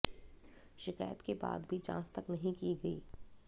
शिकायत के बाद भी जांच तक नहीं की गई